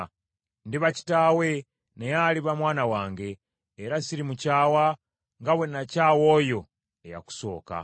Ndiba kitaawe, naye aliba mwana wange, era sirimukyawa, nga bwe nakyawa oyo eyakusooka.